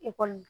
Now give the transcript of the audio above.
Ekɔli